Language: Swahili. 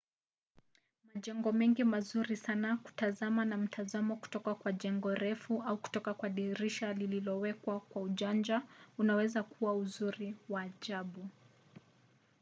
majengo mengi ni mazuri sana kutazama na mtazamo kutoka kwa jengo refu au kutoka kwa dirisha lililowekwa kwa ujanja unaweza kuwa uzuri wa ajabu